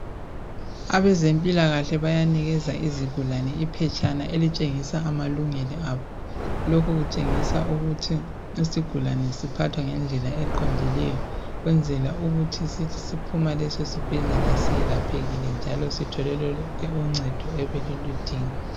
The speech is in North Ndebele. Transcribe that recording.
Abezempilakahle bayanikeza izigulane iphetshana elitshengisa amalungelo abo. Lokhu kutshengisa ukuthi isigulane siphathwa ngendlela eqondileyo ukwenzela ukuthi sithi siphuma kulesisibhedlela selaphekile njalo Sithole lonke uncedo ebesiludinga.